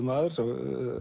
maður